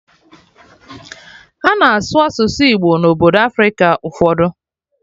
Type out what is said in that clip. Ana asụ asụsụ Igbo na obodo Africa ụfọdụ